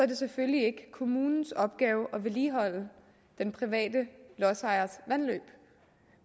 det selvfølgelig ikke kommunens opgave at vedligeholde den private lodsejers vandløb